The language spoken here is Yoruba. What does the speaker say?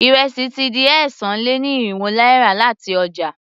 Ìrẹsì ti di ẹ́sàn-án-lé-ní-irínwó náírà láti ọjà.